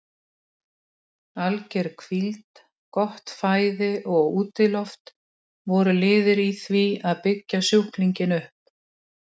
Alger hvíld, gott fæði og útiloft voru liðir í því að byggja sjúklinginn upp.